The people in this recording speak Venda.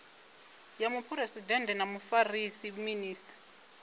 ya muphuresidennde na mufarisa minis